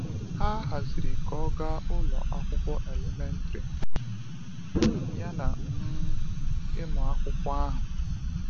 Ha haziri ka ọ gaa ụlọ akwụkwọ elementrị, yana um ịmụ akwụkwọ ahụ.